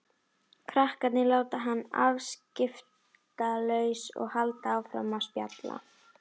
Krakkarnir láta hana afskiptalausa og halda áfram að spjalla.